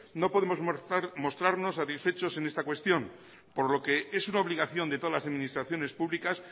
no podemos mostrarnos satisfechos en esta cuestión por lo que es una obligación de todas las administraciones públicas